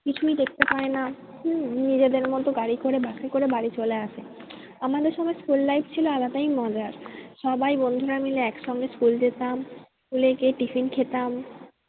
কিছুই দেখতে পায় না হম নিজেদের মতো গাড়ি করে বাসে করে বাড়ি চলে আসে। আমাদের সময় school life ছিল আলাদাই মজার। সবাই বন্ধুরা মিলে এক সঙ্গে school যেতাম school এ গিয়ে tiffin খেতাম